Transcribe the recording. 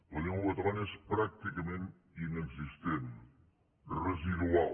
la llengua catalana és pràcticament inexistent residual